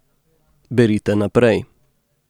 Berite naprej ...